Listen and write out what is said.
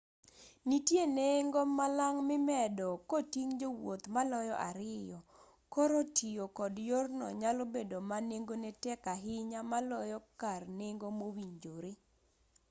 nitiere nengo malang' mimedo koting' jowuoth maloyo 2 koro tiyo kod yorno nyalo bedo ma nengone tek ahinya maloyo kar nengo mowinjore